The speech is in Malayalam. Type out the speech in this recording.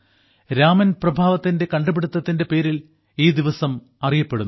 രാമൻ പ്രഭാവത്തിന്റെ കണ്ടുപിടിത്തത്തിന്റെ പേരിൽ ഈ ദിവസം അറിയപ്പെടുന്നു